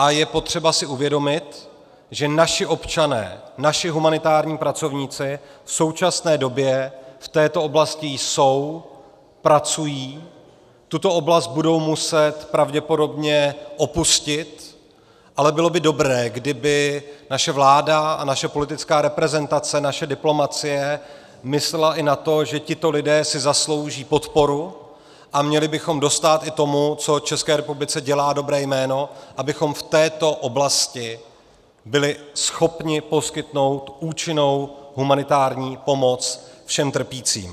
A je potřeba si uvědomit, že naši občané, naši humanitární pracovníci v současné době v této oblasti jsou, pracují, tuto oblast budou muset pravděpodobně opustit, ale bylo by dobré, kdyby naše vláda a naše politická reprezentace, naše diplomacie myslely i na to, že tito lidé si zaslouží podporu, a měli bychom dostát i tomu, co České republice dělá dobré jméno, abychom v této oblasti byli schopni poskytnout účinnou humanitární pomoc všem trpícím.